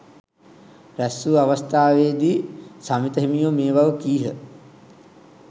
රැස්වූ අවස්ථාවේදී සමිත හිමියෝ මේ බව කීහ.